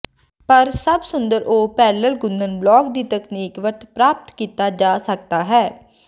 ਪਰ ਸਭ ਸੁੰਦਰ ਉਹ ਪੈਰਲਲ ਗੁੰਦਣ ਬਲਕ ਦੀ ਤਕਨੀਕ ਵਰਤ ਪ੍ਰਾਪਤ ਕੀਤਾ ਜਾ ਸਕਦਾ ਹੈ